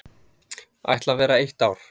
Ætla vera eitt ár.